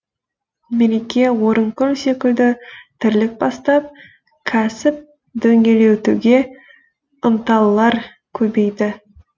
мереке орынкүл секілді тірлік бастап кәсіп дөңгелетуге ынталылар көбейді